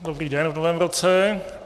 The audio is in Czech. Dobrý den v novém roce.